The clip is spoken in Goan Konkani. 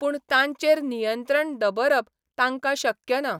पूण तांचेर नियंत्रण दबरप तांकां शक्य ना.